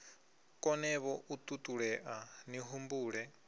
konevho u ṱuṱulea ni humbule